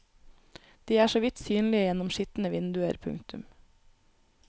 De er så vidt synlige gjennom skitne vinduer. punktum